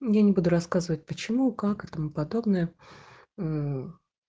я не буду рассказывать почему как и тому подобное мм